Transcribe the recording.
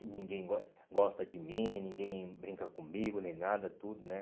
E ninguém gos gosta de mim, ninguém brinca comigo, nem nada, tudo, né?